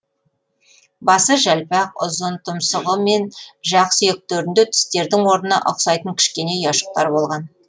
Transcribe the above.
басы жалпақ ұзын тұмсығы мен жақ сүйектерінде тістердің орнына ұқсайтын кішкене ұяшықтар болған